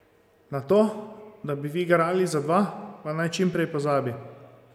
Na to, da bi vi garali za dva, pa naj čim prej pozabi.